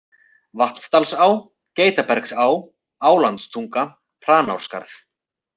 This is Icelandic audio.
Vatnadalsá, Geitabergsá, Álandstunga, Hranárskarð